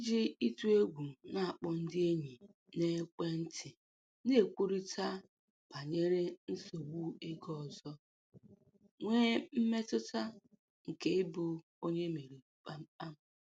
Iji ịtụ egwu na-akpọ ndị enyi n'ekwentị na-ekwurịta banyere nsogbu ego ọzọ, nwee mmetụta nke ịbụ onye e meriri kpam kpam.